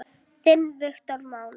Þinn Viktor Máni.